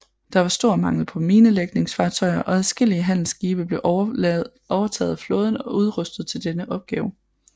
Der var stor mangel på minelægningsfartøjer og adskillelige handelsskibe blev overtaget af flåden og udrustet til denne opgave